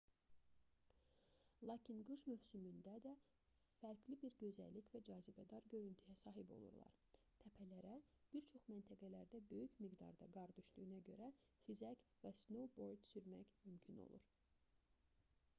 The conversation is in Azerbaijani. lakin qış mövsümündə də fərqli bir gözəllik və cazibədar görüntüyə sahib olurlar təpələrə bir çox məntəqələrdə böyük miqdarda qar düşdüyünə görə xizək və snoubord sürmək mümkün olur